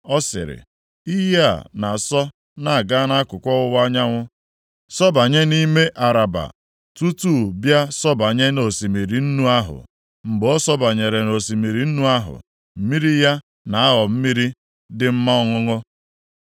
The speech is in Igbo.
Ọ sịrị, “Iyi a na-asọ na-aga akụkụ ọwụwa anyanwụ, sọbanye nʼime Araba, + 47:8 Maọbụ, Ndagwurugwu Jọdan tutu bịa sọbanye nʼosimiri nnu ahụ. Mgbe ọ sọbanyere nʼosimiri nnu ahụ, mmiri ya na-aghọ mmiri dị mma ọṅụṅụ